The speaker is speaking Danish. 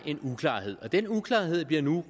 en uklarhed og den uklarhed bliver nu